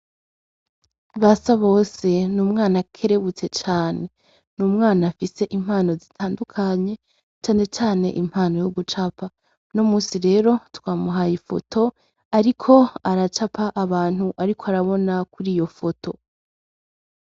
BASABOSE n’umwana akerebutse cane. N’umwana afise impano zitandukanye, cane cane impano yo gucapa. Uno munsi rero twamuhaye ifoto, ariko aracapa abantu ariko arabona kuri iyo foto.